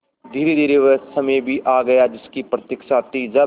धीरेधीरे वह समय भी आ गया जिसकी प्रतिक्षा थी जब